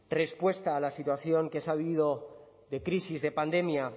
respuesta a la situación que es sabido de crisis de pandemia